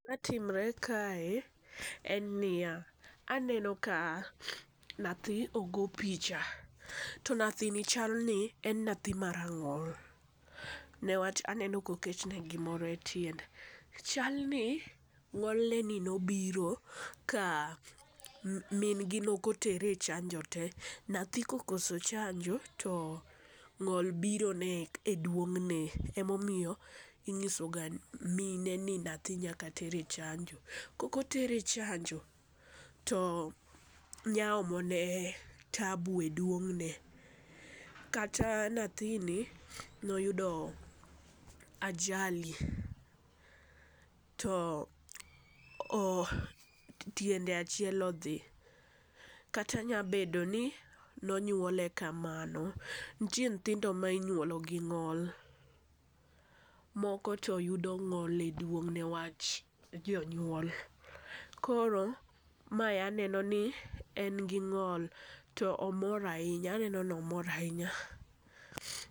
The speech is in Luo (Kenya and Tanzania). Gima timre kae en niya, aneno ka nathi ogo picha to nathini chal ni en nathi marang'ol newach aneno koketne gimoro e tiende. Chal ni ng'ol ne ni nobiro ka min gi nokotere e chanjo tee, nathi kokoso chanjo to ng'ol biro ne e duong'ne e momiyo ing'iso ga mine ni nathi nyaka ter e chanjo. Koko tere chanjo to nya omone taabu e duong'ne. Kata nathini noyudo ajali to o tiende achiel odhi kata nya bedo ni nonyuole kamano. Ntie nthindo minyuolo gi ng'ol , moko to yudo ng'ol e duong' newach jonyuol. Koro mae aneno ni en gi ng'ol to omor ahinya aneno nomor ahinya.